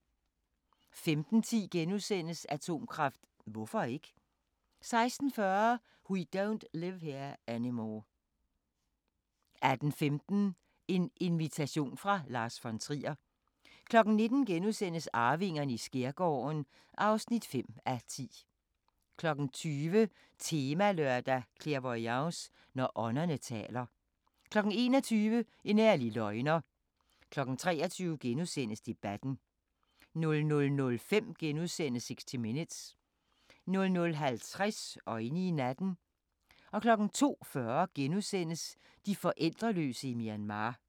15:10: Atomkraft – hvorfor ikke? * 16:40: We Don't Live Here Anymore 18:15: En invitation fra Lars von Trier 19:00: Arvingerne i skærgården (5:10)* 20:00: Temalørdag: Clairvoyance – når ånderne taler 21:00: En ærlig løgner 23:00: Debatten * 00:05: 60 Minutes * 00:50: Øjne i natten 02:40: De forældreløse i Myanmar *